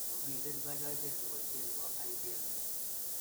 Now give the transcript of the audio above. Momiten kany'aaseet ne boisie ne po IBM.